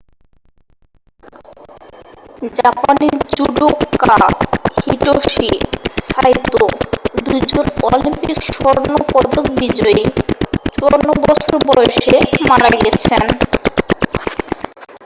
জাপানি judoka Hitoshi Saito 2জন Olympic স্বর্ণপদক বিজয়ী 54 বছর বয়সে মারা গেছেন